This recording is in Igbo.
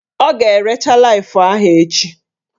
Ọ ga-erecha Laif ahụ echi